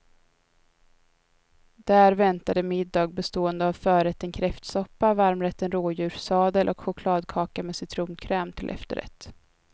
Där väntade middag bestående av förrätten kräftsoppa, varmrätten rådjurssadel och chokladkaka med citronkräm till efterrätt.